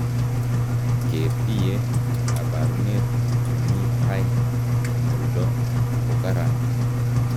Keetiye kabaruneet nemii tai eng' oldo kokaran